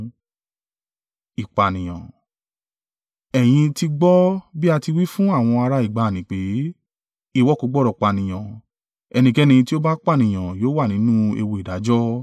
“Ẹ̀yin ti gbọ́ bí a ti wí fún àwọn ará ìgbàanì pé, ‘Ìwọ kò gbọdọ̀ pànìyàn, ẹnikẹ́ni tí ó bá pànìyàn yóò wà nínú ewu ìdájọ́.’